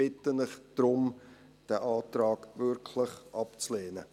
Ich bitte Sie darum, diesen Antrag wirklich abzulehnen.